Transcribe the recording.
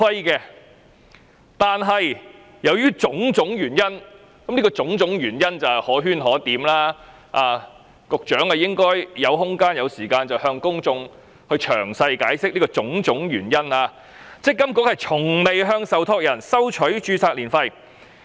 然而，由於種種原因——這種種原因可圈可點，局長若有空間和時間，應向公眾詳細解釋——積金局從未向受託人收取註冊年費。